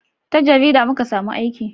ta jarida muka samu aiki